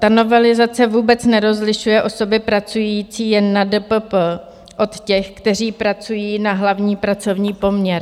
Ta novelizace vůbec nerozlišuje osoby pracující jen na DPP od těch, kteří pracují na hlavní pracovní poměr.